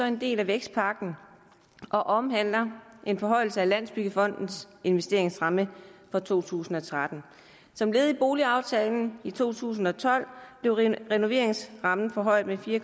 en del af vækstpakken og omhandler en forhøjelse af landsbyggefondens investeringsramme for to tusind og tretten som led i boligaftalen i to tusind og tolv blev renoveringsrammen forhøjet med fire